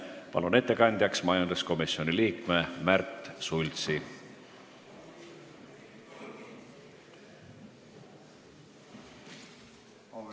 Palun ettekandeks kõnetooli majanduskomisjoni liikme Märt Sultsi!